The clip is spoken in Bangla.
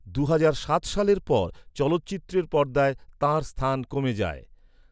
দুহাজার সাত সালের পর চলচ্চিত্রের পর্দায় তাঁর স্থান কমে যায়।